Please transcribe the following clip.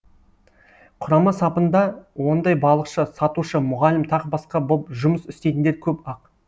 құрама сапында ондай балықшы сатушы мұғалім тағы басқа боп жұмыс істейтіндер көп ақ